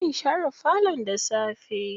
Zan share falon da safe.